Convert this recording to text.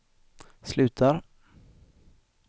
slutar